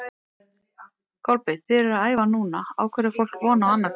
Kolbeinn, þið eruð að æfa núna, á hverju á fólk von á annað kvöld?